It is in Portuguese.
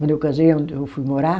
Quando eu casei, onde eu fui morar...